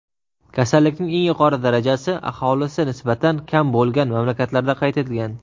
Kasallikning eng yuqori darajasi aholisi nisbatan kam bo‘lgan mamlakatlarda qayd etilgan.